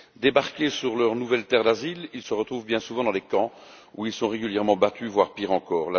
Débarqués sur leur nouvelle terre d'asile, ils se retrouvent bien souvent dans des camps, où ils sont régulièrement battus, voire pire encore.